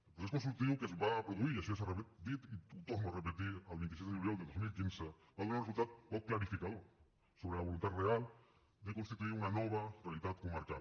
el procés consultiu que es va produir i això ja s’ha dit i ho torno a repetir el vint sis de juliol de dos mil quinze va donar un resultat poc clarificador sobre la voluntat real de constituir una nova realitat comarcal